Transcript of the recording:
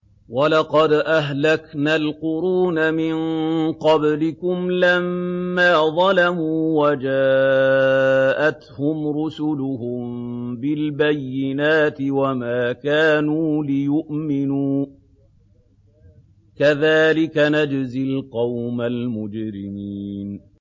وَلَقَدْ أَهْلَكْنَا الْقُرُونَ مِن قَبْلِكُمْ لَمَّا ظَلَمُوا ۙ وَجَاءَتْهُمْ رُسُلُهُم بِالْبَيِّنَاتِ وَمَا كَانُوا لِيُؤْمِنُوا ۚ كَذَٰلِكَ نَجْزِي الْقَوْمَ الْمُجْرِمِينَ